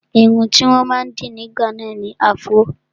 Irun tí wọ́n máa ń dì ní ìgbà náà ni afro